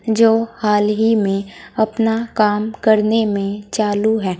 जो हाल ही में अपना काम करने में चालू हैं।